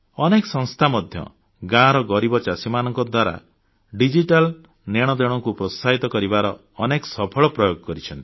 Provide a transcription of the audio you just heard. ଅନେକ ସଂସ୍ଥା ମଧ୍ୟ ଗାଁର ଗରିବ ଚାଷୀମାନଙ୍କ ଦ୍ୱାରା ଡିଜିଟାଲ ନେଣଦେଣକୁ ପ୍ରୋତ୍ସାହିତ କରିବାର ଅନେକ ସଫଳ ପ୍ରୟୋଗ କରିଛନ୍ତି